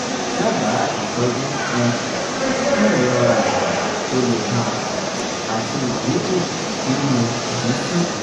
daba itoju um fun irora aya to le gan ati idinku ninu imisi